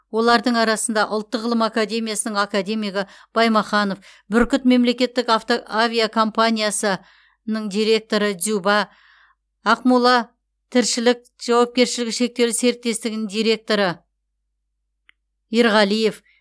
олардың арасында ұлттық ғылым академиясының академигі баймаханов бүркіт мемлекеттік авто авиакомпаниясы ның директоры дзюба ақмола тіршілік жауапкершілігі шектеулі серіктестігінің директоры ерғалиев